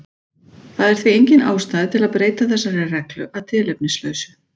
Það er því engin ástæða til að breyta þessari reglu að tilefnislausu.